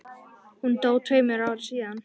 Hún dó tveimur árum síðar.